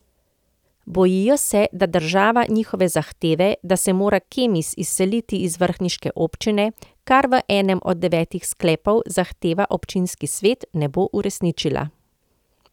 Bojijo se, da država njihove zahteve, da se mora Kemis izseliti iz vrhniške občine, kar v enem od devetih sklepov zahteva občinski svet, ne bo uresničila.